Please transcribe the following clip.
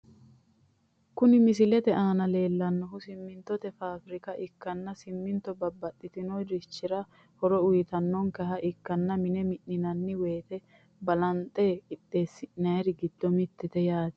Kun misilete aana leelannohu simintote fabirka ikkana siminitto babaxinorichira horo uyitankeha ikkana mine mi'ninanni woyte balanixe qixeesi'nayri giddo mittete yaate